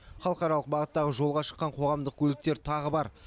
халықаралық бағыттағы жолға шыққан қоғамдық көліктер тағы бар